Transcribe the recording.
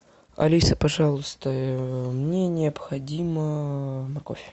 алиса пожалуйста мне необходима морковь